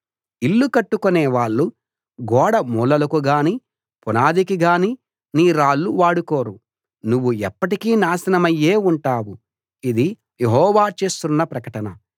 ఇళ్ళు కట్టుకునే వాళ్ళు గోడ మూలాలకు గానీ పునాదికి గానీ నీ రాళ్ళు వాడుకోరు నువ్వు ఎప్పటికీ నాశనమయ్యే ఉంటావు ఇది యెహోవా చేస్తున్న ప్రకటన